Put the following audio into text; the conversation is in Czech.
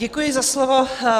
Děkuji za slovo.